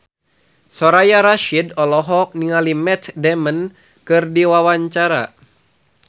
Soraya Rasyid olohok ningali Matt Damon keur diwawancara